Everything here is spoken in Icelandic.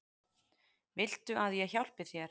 Viltu að ég hjálpi þér?